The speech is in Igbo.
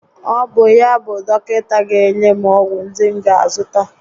Ọ bụ yá bụ dọkịta ga enye m ọgwụ ndi m ga a zụta?